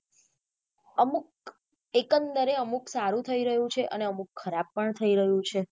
અમુક એક એ અમુક સારું થઇ રહ્યું છે અને અમુક ખરાબ પણ થઇ રહ્યું છે.